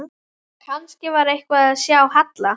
Þessi undirgefni fól samtímis í sér ákveðna sjálfsþekkingu.